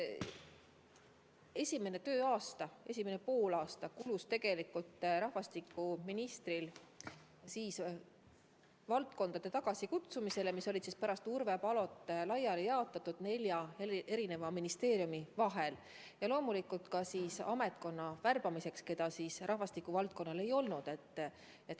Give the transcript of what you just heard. Esimene poolaasta kulus rahvastikuministril nende valdkondade nn tagasikutsumisele, mis olid pärast Urve Palot laiali jaotatud nelja ministeeriumi vahel, ja loomulikult ka ametnikkonna värbamiseks, keda rahvastikuvaldkonnal ei olnud.